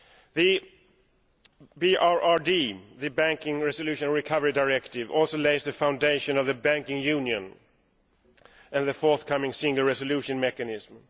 The BRRD, the Banking Resolution Recovery Directive, also lays the foundation of banking union and the forthcoming single resolution mechanism.